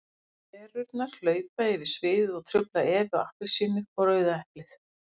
Perurnar hlaupa yfir sviðið og trufla Evu appelsínu og Rauða eplið.